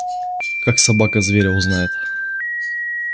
как собака зверя узнает